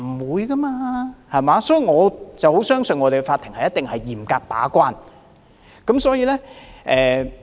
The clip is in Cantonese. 所以，我很相信香港的法庭一定會嚴格把關。